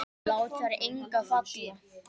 Lát þar enga falla.